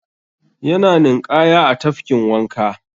Yana ninƙaya a tafkin wanka.